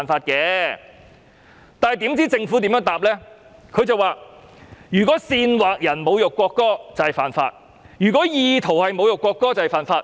然而，政府的答覆則是："如果煽惑別人侮辱國歌即屬犯法，而意圖侮辱國歌也是犯法。